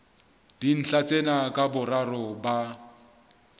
dintlha tsena ka boraro ba